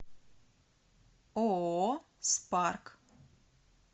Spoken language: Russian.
ооо спарк